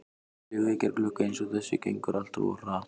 Léleg vekjaraklukka eins og þessi gengur alltaf of hratt